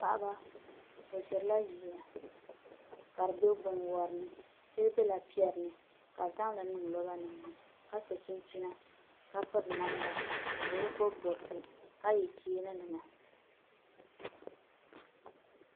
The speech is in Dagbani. Paɣaba bi ʒirila ʒiya ka di bɛ binwori ni shɛli biɛla piɛri ni ka bi zqŋli niŋ roba nim ni ka so chinchina ka piri namda bi bi bob bobsi ka yɛ cheeni nima